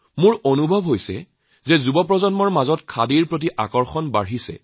লগতে এইটো ভাৱ হৈছে যে যুৱ প্ৰজন্মৰ মাজত খাদীৰ প্ৰতি আকৰ্ষণ বাঢ়িছে